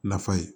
Nafa ye